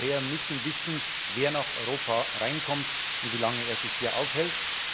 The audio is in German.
Wir Europäer müssen wissen, wer nach Europa kommt und wie lange er sich hier aufhält.